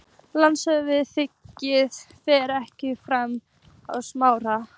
LANDSHÖFÐINGI: Alþingi fer ekki með framkvæmd sakamála.